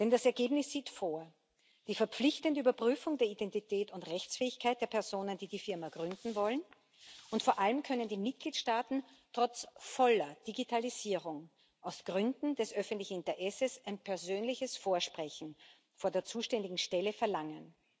Das Ergebnis sieht die verpflichtende Überprüfung der Identität und Rechtsfähigkeit der Personen, die die Firma gründen wollen, vor, und vor allem können die Mitgliedstaaten trotz voller Digitalisierung aus Gründen des öffentlichen Interesses ein persönliches Vorsprechen vor der zuständigen Stelle verlangen.